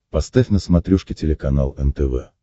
поставь на смотрешке телеканал нтв